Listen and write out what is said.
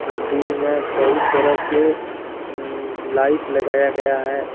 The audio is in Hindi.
मंदिर में बहुत तरह के लाइट लगाया गया है।